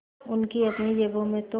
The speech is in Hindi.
उनकी अपनी जेबों में तो